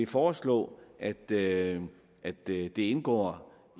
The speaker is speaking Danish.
foreslå at det at det indgår